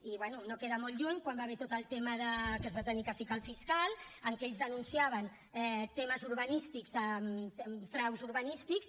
i bé no queda molt lluny quan hi va haver tot el tema que es va haver de ficar el fiscal en què ells denunciaven temes urbanístics fraus urbanístics